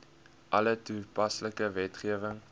alle toepaslike wetgewing